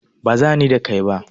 Baza ni da kai ba.